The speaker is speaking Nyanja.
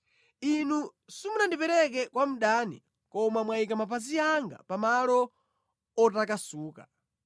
Inu simunandipereke kwa mdani koma mwayika mapazi anga pa malo otakasuka.